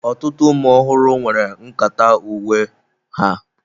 Ọtụtụ ụmụ ọhụrụ nwere nkata uwe nke ha.